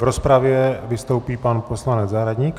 V rozpravě vystoupí pan poslanec Zahradník.